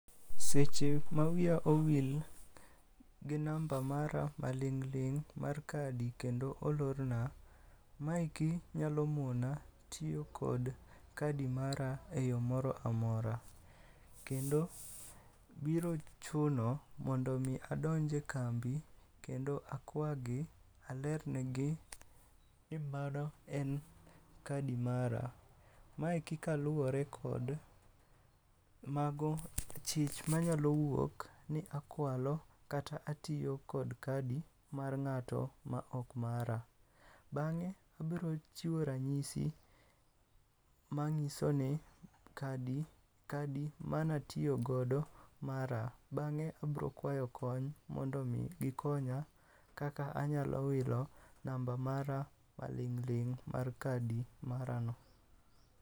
Seche ma wiya owil gi namba mara ma ling' ling' mar kadi kendo olorna. Maeki nyalo mona tiyo kod kadi mara e yo moro amora. Kendo biro chuno mondo mi adonje kambi kendo akwagi, alerne gi ni mano en kadi mara. Maeki kaluwore kod mago, chich manyalo wuok ni akwalo kata atiyo kod kadi mar ng'ato ma ok mara. Bang'e abiro chiwo ranyisi ma ng'iso ni kadi, kadi manatiyogodo mara. Bang'e abrokwayo kony mondo mi gikonya kaka anyalo wilo namba mara maling'ling' mar kadi mara no.